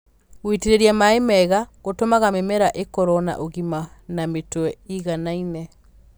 Gũitĩrĩria maĩ wega gũtũmaga mĩmera ĩkorwo na ũgima na mĩtwe ĩganaine.